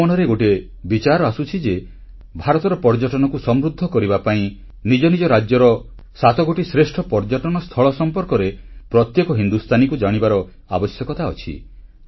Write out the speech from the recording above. ମୋ ମନରେ ଗୋଟିଏ ବିଚାର ଆସୁଛି ଯେ ଭାରତର ପର୍ଯ୍ୟଟନକୁ ସମୃଦ୍ଧ କରିବା ପାଇଁ ନିଜନିଜ ରାଜ୍ୟର ସାତଗୋଟି ଶ୍ରେଷ୍ଠ ପର୍ଯ୍ୟଟନ ସ୍ଥଳ ସମ୍ପର୍କରେ ପ୍ରତ୍ୟେକ ହିନ୍ଦୁସ୍ଥାନୀକୁ ଜାଣିବାର ଆବଶ୍ୟକତା ଅଛି